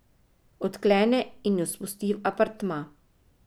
Odklene in jo spusti v apartma.